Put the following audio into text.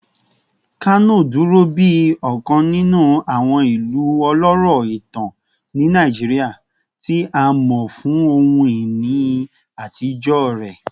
Kano duro bi ọkan ninu awọn ilu ọlọrọ itan ni Naijiria, ti a mọ fun ohun-ini atijọ rẹ